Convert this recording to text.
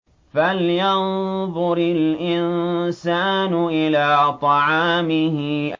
فَلْيَنظُرِ الْإِنسَانُ إِلَىٰ طَعَامِهِ